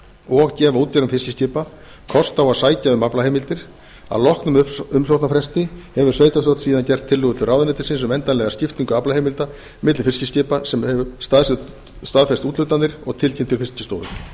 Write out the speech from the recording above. og gefa útgerðum fiskiskipa kost á að sækja um aflaheimildir að loknum umsóknarfresti hefur sveitarstjórn síðan gert tillögur til ráðuneytisins um endanlega skiptingu aflaheimilda milli fiskiskipa sem hefur staðfest úthlutanir og tilkynnt til fiskistofu ef